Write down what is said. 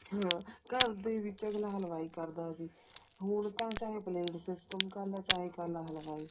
ਹਾਂ ਘਰ ਦੇ ਵਿੱਚ ਅੱਗਲਾ ਹਲਵਾਈ ਕਰਦਾ ਸੀ ਹੁਣ ਤਾਂ ਚਾਹੇ ਪਲੇਟ system ਕਰਲਾ ਚਾਹੇ ਕਰਲਾ ਹਲਵਾਈ